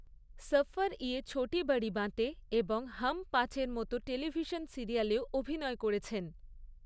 সরফ ইয়ে ছোটী বড়ী বাঁতে এবং হাম পাঁচ এর মতো টেলিভিশন সিরিয়ালেও অভিনয় করেছেন।